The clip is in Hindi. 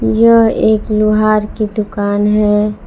यह एक लोहार की दुकान है।